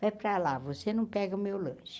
Vai para lá, você não pega o meu lanche.